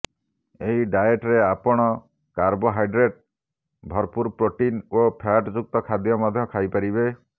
ଏହି ଡ଼ାଏଟରେ ଆପଣ କାବ୍ରୋହାଇଡ଼୍ରେଟ ଭରପୂର ପ୍ରୋଟିନ ଓ ଫ୍ୟାଟ ଯୁକ୍ତ ଖାଦ୍ୟ ମଧ୍ୟ ଖାଇପାରିବେ